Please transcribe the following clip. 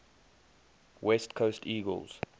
west coast eagles